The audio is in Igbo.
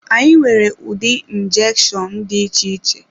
Anyị nwere ụdị njeshonu dị iche iche.